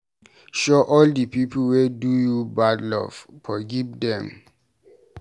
Show all di pipu wey do you bad love, forgive dem.